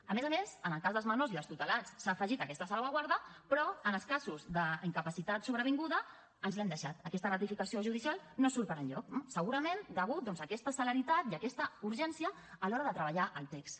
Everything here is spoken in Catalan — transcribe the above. a més a més en el cas dels menors i dels tutelats s’ha afegit aquesta salvaguarda però en els casos d’incapacitat sobrevinguda ens l’hem deixat aquesta ratificació judicial no surt per enlloc eh segurament degut doncs a aquesta celeritat i a aquesta urgència a l’hora de treballar el text